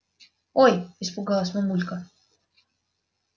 ой испугалась мамулька